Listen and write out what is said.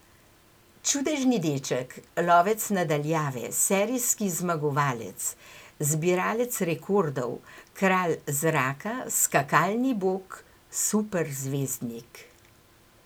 Čudežni deček, lovec na daljave, serijski zmagovalec, zbiralec rekordov, kralj zraka, skakalni bog, superzvezdnik...